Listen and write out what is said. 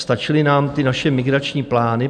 Stačily nám ty naše migrační plány.